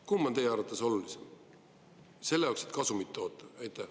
Kumb on teie arvates olulisem selleks, et kasumit toota?